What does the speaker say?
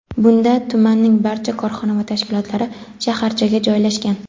bunda tumanning barcha korxona va tashkilotlari shaharchaga joylashgan.